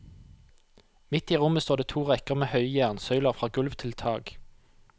Midt i rommet står det to rekker med høye jernsøyler fra gulv til tak.